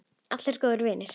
Allir góðir vinir.